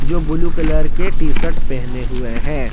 जो blue colour के T shirt पहने हुए हैं।